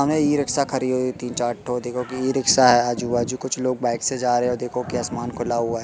हमें ई-रिक्शा खड़ी हुई तीन-चार ठो देखो की ई-रिक्शा है आजू-बाजू। कुछ लोग बाइक से जा रहे। हो देखो कि आसमान खुला हुआ है।